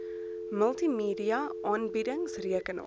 multimedia aanbiedings rekenaar